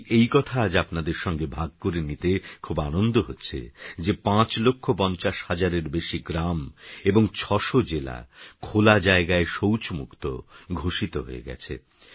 তাইএইকথাআজআপনাদেরসঙ্গেভাগকরেনিতেখুবআনন্দহচ্ছেযে৫লক্ষ৫০হাজারেরবেশিগ্রামএবং৬০০জেলা খোলাজায়গায়শৌচমুক্ত ঘোষিতহয়েগেছে